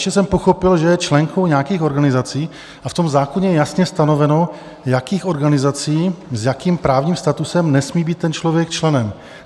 Ještě jsem pochopil, že je členkou nějakých organizací, a v tom zákoně je jasně stanoveno, jakých organizací, s jakým právním statutem nesmí být ten člověk členem.